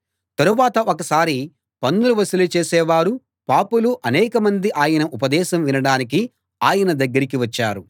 తరువాత ఒకసారి పన్నులు వసూలు చేసేవారూ పాపులూ అనేకమంది ఆయన ఉపదేశం వినడానికి ఆయన దగ్గరికి వచ్చారు